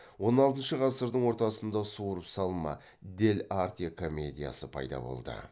он алтыншы ғасырдың ортасында суырып салма дель арте комедиясы пайда болды